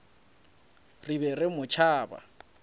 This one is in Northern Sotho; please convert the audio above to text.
re be re mo tšhaba